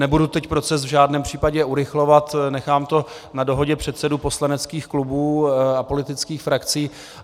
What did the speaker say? Nebudu teď proces v žádném případě urychlovat, nechám to na dohodě předsedů poslaneckých klubů a politických frakcí.